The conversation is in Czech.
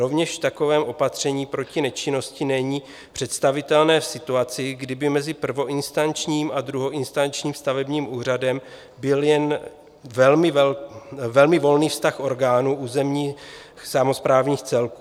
Rovněž takové opatření proti nečinnosti není představitelné v situaci, kdy by mezi prvoinstančním a druhoinstančním stavebním úřadem byl jen velmi volný vztah orgánů územních samosprávních celků.